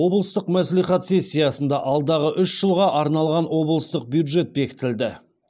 облыстық мәслихат сессиясында алдағы үш жылға арналған облыстық бюджет бекітілді